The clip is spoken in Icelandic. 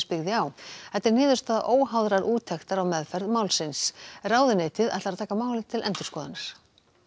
byggði á þetta er niðurstaða óháðrar úttektar á meðferð málsins ráðuneytið ætlar að taka málið til endurskoðunar